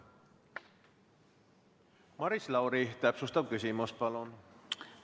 Maris Lauri, täpsustav küsimus, palun!